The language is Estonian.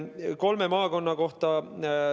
Nüüd kolme maakonna kohta.